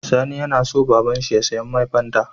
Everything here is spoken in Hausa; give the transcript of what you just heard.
Sani yAna so baban shi ya siya mai fanta